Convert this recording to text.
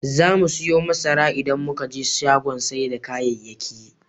Zamu siyo masara idan muka je shagon sai da kayayyaki.